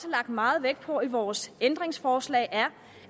lagt meget vægt på i vores ændringsforslag er